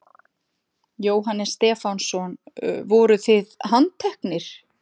Jóhannes Stefánsson: Voruð þið handteknir?